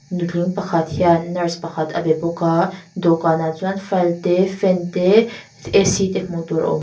nutling pakhat hian nurse pakhat a be bawk a dawhkanah chuan file te fan te AC te hmuh tur a awm.